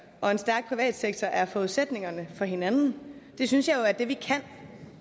og en stærk privat sektor er forudsætningerne for hinanden det synes jeg jo er det vi kan